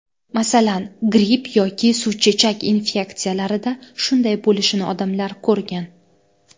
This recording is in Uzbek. Masalan, gripp yoki suvchechak infeksiyalarida shunday bo‘lishini odamlar ko‘rgan.